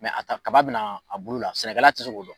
a kaba bɛna a bolo la sɛnɛkala ti se k'o dɔn.